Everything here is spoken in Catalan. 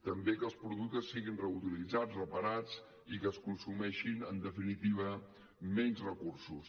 també que els productes siguin reutilitzats reparats i que es consumeixin en definitiva menys recursos